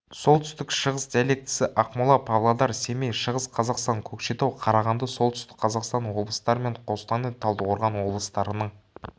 солтүстік шығыс диалектісі ақмола павлодар семей шығыс қазақстан көкшетау қарағанды солтүстік қазақстан облыстары мен қостанай талдықорған облыстарының